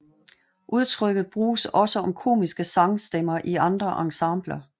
Udtrykket bruges også om komiske sangstemmer i andre ensembler